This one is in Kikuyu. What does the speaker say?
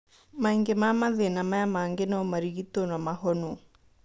Maingĩ ma mathĩna maya mangĩ no marigitwo na mahonwo